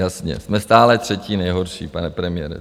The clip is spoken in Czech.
Jasně, jsme stále třetí nejhorší, pane premiére.